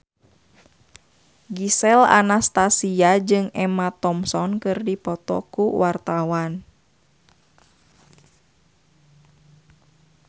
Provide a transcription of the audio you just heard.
Gisel Anastasia jeung Emma Thompson keur dipoto ku wartawan